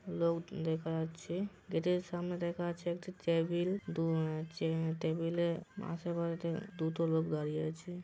লোকজন দেখা যাচ্ছে। গেটের সামনে দেখা যাচ্ছে একটি টেবিল । দু উম টেবিলে আশেপাশে দুটো লোক দাড়িয়ে আছে।